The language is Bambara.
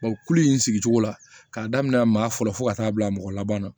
kulu in sigi cogo la k'a daminɛ maa fɔlɔ fɔ ka taa bila mɔgɔ laban na